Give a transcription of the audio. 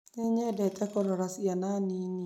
Nĩ nyendete kũrora ciana nini